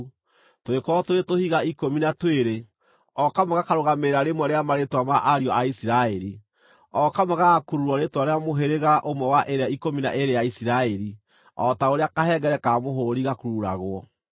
Tũgĩkorwo tũrĩ tũhiga ikũmi na twĩrĩ, o kamwe gakarũgamĩrĩra rĩmwe rĩa marĩĩtwa ma ariũ a Isiraeli, o kamwe gagakururwo rĩĩtwa rĩa mũhĩrĩga ũmwe wa ĩrĩa ikũmi na ĩĩrĩ ya Isiraeli, o ta ũrĩa kahengere ka mũhũũri gakururagwo.